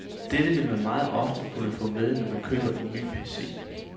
Dette vil man meget ofte kunne få med, når man køber en ny PC.